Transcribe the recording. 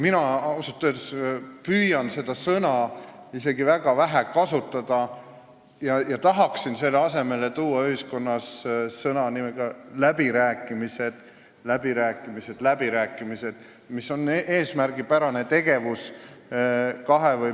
Mina ausalt öeldes püüan seda sõna isegi väga vähe kasutada ja tahaksin selle asemele tuua ühiskonnas kasutusele sõna "läbirääkimised", mis on kahe või mitme osapoole eesmärgipärane tegevus.